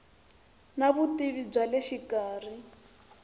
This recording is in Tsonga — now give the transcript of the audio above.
na vutivi bya le xikarhi